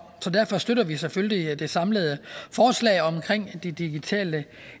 så derfor støtter vi selvfølgelig det samlede forslag om de digitale